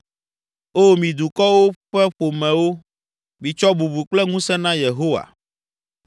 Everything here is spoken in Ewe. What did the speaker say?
O mi dukɔwo ƒe ƒomewo, mitsɔ bubu kple ŋusẽ na Yehowa.